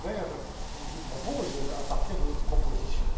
Ferber vous propose à partir de notre proposition.